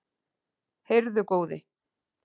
Heyrðu góði!